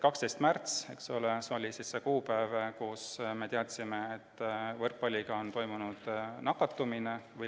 12. märts oli see kuupäev, kui me teadsime, et võrkpallimänguga seoses on toimunud nakatumine.